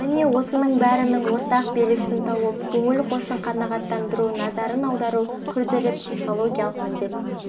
міне осының бәрінің ортақ белгісін тауып көңіл хошын қанағаттандыру назарын аудару күрделі психологиялық міндет